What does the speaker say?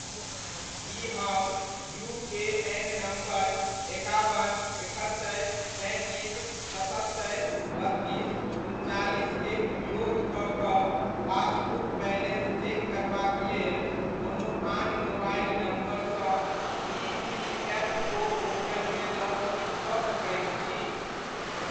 की हम UAN number एकाबन, एकहत्तरि, तैंतीस, सतहत्तरि, बत्तीस, उनचालिस के उपयोग कऽ कऽ पासबुक बैलेन्स चेक करबाक लेल कोनो आन मोबाइल नम्बरसँ ईपीएफओ पोर्टलमे लॉग इन कऽ सकैत छी?